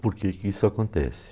Por que que isso acontece?